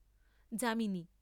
যা।